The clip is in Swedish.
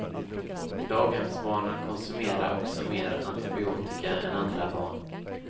Daghemsbarnen konsumerar också mer antibiotika än andra barn.